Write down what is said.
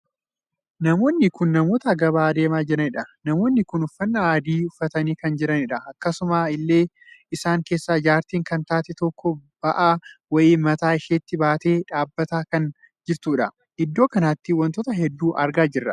Namoonni kun namootaa gabaa adeemaa jiranidha. namoonni kun uffannaa adii uffatanii kan jiranidha. akkasuma illee isaan keessaa jaartiin kan taate tokko ba'aa wayii mataa isheetti baattee dhaabbataa kan jirtudha. iddoo kanatti wantoota hedduu argaa jirra.